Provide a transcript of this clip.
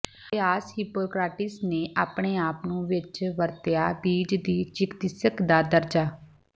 ਅਭਿਆਸ ਹਿਪੋਕ੍ਰਾਟੀਸ ਨੇ ਆਪਣੇ ਆਪ ਨੂੰ ਵਿੱਚ ਵਰਤਿਆ ਬੀਜ ਦੀ ਚਿਕਿਤਸਕ ਦਾ ਦਰਜਾ